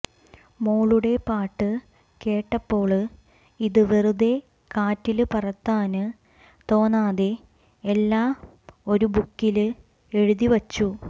മോളുടെ പാട്ട് കേട്ടപ്പോള് ഇത് വെറുതെ കാറ്റില് പറത്താന് തോന്നാതെ എല്ലാം ഒരു ബുക്കില് എഴുതിവച്ചു